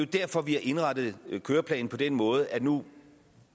derfor vi har indrettet køreplanen på den måde at nu